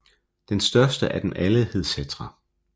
Den største af dem alle hed Settra